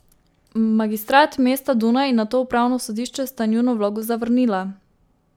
Magistrat mesta Dunaj in nato upravno sodišče sta njuno vlogo zavrnila.